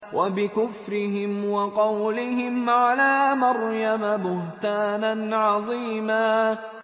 وَبِكُفْرِهِمْ وَقَوْلِهِمْ عَلَىٰ مَرْيَمَ بُهْتَانًا عَظِيمًا